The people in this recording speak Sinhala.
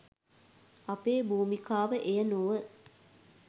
අපේ භූමිකාව එය නොව